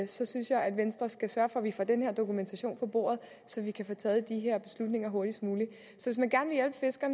så synes jeg at venstre skulle sørge for at vi får den her dokumentation på bordet så vi kan få taget de her beslutninger hurtigst muligt